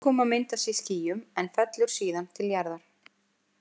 Úrkoma myndast í skýjum en fellur síðan til jarðar.